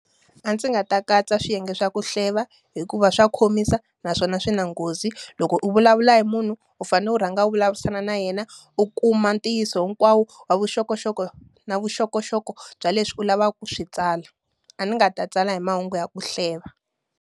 A ndzi nga ta katsa swiyenge swa ku hleva hikuva swa khomisa, naswona swi na nghozi. Loko u vulavula hi munhu, u fanele u rhanga u vulavurisana na yena u kuma ntiyiso hinkwawo wa vuxokoxoko na vuxokoxoko bya leswi u lavaka ku swi tsala. A ndzi nga ta tsala hi mahungu ya ku hleva.